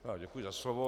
Děkuji za slovo.